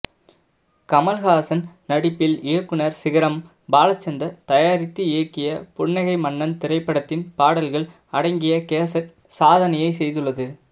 கமல்ஹாசன் நடிப்பில் இயக்குனர் சிகரம் பாலச்சந்தர் தயாரித்து இயக்கிய புன்னகை மன்னன் திரைப்படத்தின் பாடல்கள் அடங்கிய கேசட் சாதனையை செய்துள்ளது